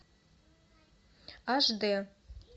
аш дэ